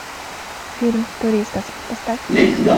фильм туристас поставь